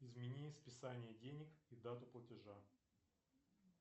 измени списание денег и дату платежа